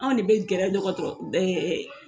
Anw de be gɛrɛ dɔgɔtɔrɔ ɛ ɛ